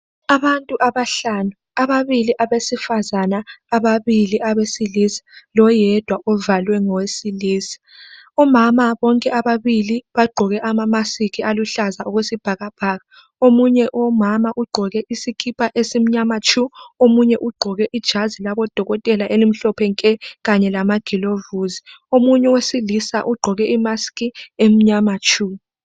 Abantu abahlanu ababili abesifazana, ababili abesilisa loyedwa ovalwe ngoyesilisa, omama bonke ababili bagqoke amamaski aluhlaza okwesibhakabhaka omunye umama ugqoke isikipa esimnyama tshu omunye ugqoke ijazi labodokotela elimhlophe nke kanye lama glovisi. Omunye owesilisa ugqoke imaski emnyama tshu.